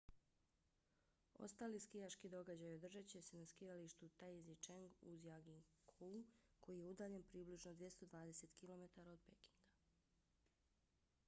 ostali skijaški događaji održat će se na skijalištu taizicheng u zhangjiakouu koji je udaljen približno 220 km 140 milja od pekinga